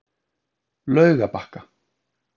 Laugabakka